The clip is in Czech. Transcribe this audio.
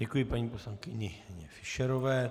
Děkuji paní poslankyni Fischerové.